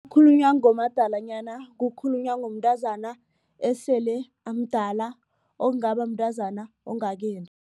Khulunywa ngomadalanyana kukhulunywa ngomntazana esele amdala ongaba mntazana ongakendi.